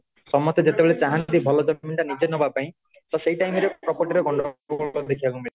ସମତେ ଯେତେ ବେଳେ ଚାହାନ୍ତି ଭଲ ଜମିଟା ନିଜେ ନବା ପାଇଁ ତ ସେଇ time ରେ property ରେ ଗଣ୍ଡଗୋଳ ଦେଖିବା କୁ ମିଳେ